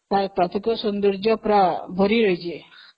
ପ୍ରାକୃତିକ ସୌନ୍ଦର୍ଜ୍ୟ ପୁରା ଭରି ରହିଛି